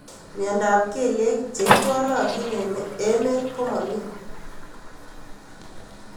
Mnyendo ab kelyek cheitwalatin eng emet komami.